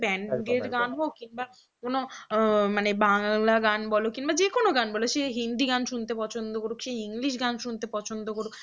যে কোন গান বলো সে হিন্দি গান শুনতে পছন্দ করুক সে english গান শুনতে পছন্দ করুক